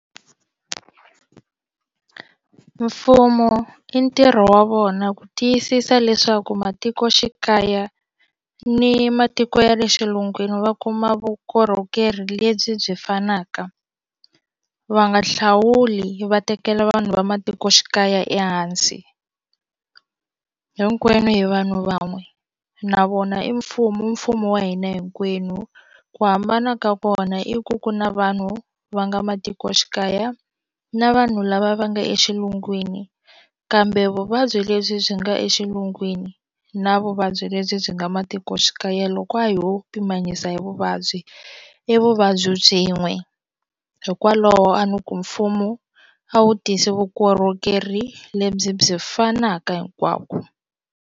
Mfumo i ntirho wa vona ku tiyisisa leswaku matikoxikaya ni matiko ya le xilungwini va kuma vukorhokeri lebyi byi fanaka va nga hlawuli va tekela vanhu va matikoxikaya ehansi hinkwenu hi vanhu van'we na vona i mfumo i mfumo wa hina hinkwenu ku hambana ka kona i ku ku na vanhu va nga matikoxikaya na vanhu lava va nga exilungwini kambe vuvabyi lebyi byi nga exilungwini na vuvabyi lebyi byi nga matikoxikaya loko a ho pimanyisa hi vuvabyi i vuvabyi byin'we hikwalaho a ni ku mfumo a wu tisi vukorhokeri lebyi byi fanaka hinkwako.